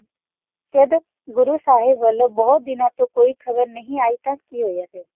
ਓਨਾ ਨੂ ਗੁਰੋ ਸਾਹਿਬ ਵਾਲੋ ਕੋਈ ਨਵੀ ਖਬਰ ਨਹੀ ਆਈ ਸੀ